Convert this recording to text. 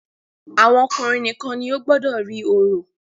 Àwọn ọkùnrin nìkan ni ó gbọdọ rí orò.